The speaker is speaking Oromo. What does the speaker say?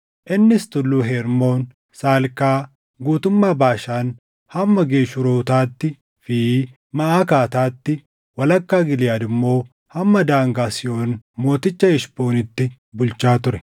Innis Tulluu Hermoon, Salkaa, guutummaa Baashaan hamma Geshuurotaattii fi Maʼakaataatti, walakkaa Giliʼaad immoo hamma daangaa Sihoon mooticha Heshboonitti bulchaa ture.